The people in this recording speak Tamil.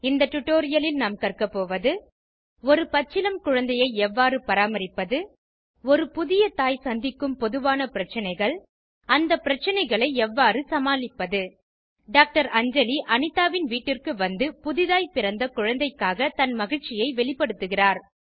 இந்த டுடோரியலில் நாம் கற்க போவது ஒரு பச்சிளம் குழந்தையை எவ்வாறு பராமரிப்பது ஒரு புதிய தாய் சந்திக்கும் பொதுவான பிரச்சனைகள் அந்த பிரச்சனைகளை எவ்வாறு சமாளிப்பது டாக்டர் அஞ்சலி அனிதாவின் வீட்டிற்கு வந்து புதிதாய் பிறந்த குழந்தைக்காக தன் மகிழ்ச்சியை வெளிப்படுத்துகிறார்